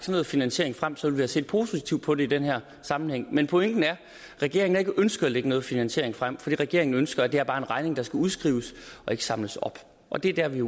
noget finansiering frem så ville set positivt på det i den her sammenhæng men pointen er at regeringen ikke har ønsket at lægge noget finansiering frem for det regeringen ønsker er bare en regning der skal udskrives og ikke samles op og det er